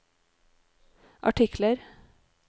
artikler